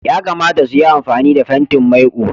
Yakamata su yi amfani da fentin maiƙo.